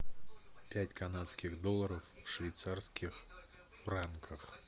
пять канадских долларов в швейцарских франках